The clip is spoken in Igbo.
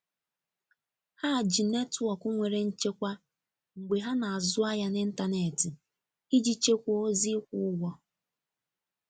Ha ji netwọk nwere nchekwa mgbe ha n'azu ahia n'intanetị iji chekwa ozi ikwụ ụgwọ.